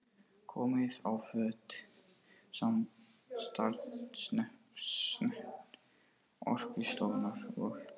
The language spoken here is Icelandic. Komið á fót samstarfsnefnd Orkustofnunar og